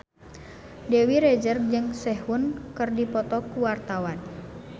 Dewi Rezer jeung Sehun keur dipoto ku wartawan